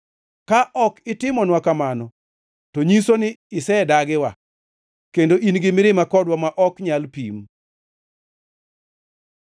Ka ok itimonwa kamano, to nyiso ni isedagiwa kendo in gi mirima kodwa ma ok nyal pim.